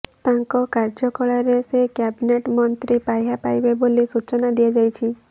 ତାଙ୍କ କାର୍ଯ୍ୟକାଳରେ ସେ କ୍ୟାବିନେଟ୍ ମନ୍ତ୍ରୀ ପାହ୍ୟା ପାଇବେ ବୋଲି ସୂଚନା ଦିଆଯାଇଛି